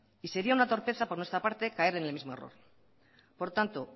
y sería una torpeza por nuestra parte caer en el mismo error por tanto